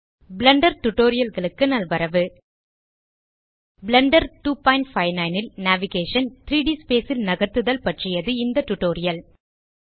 Blender Tutorialகளுக்கு நல்வரவு Blender 259 ல் நேவிகேஷன் - 3ட் ஸ்பேஸ் ல் நகர்த்துதல் பற்றியது இந்த டியூட்டோரியல்